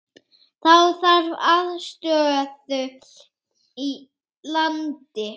Þá þarf aðstöðu í landi.